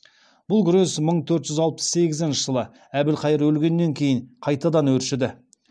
бұл күрес мың төрт жүз алпыс сегізінші әбілхайыр өлгеннен кейін қайтадан өршіді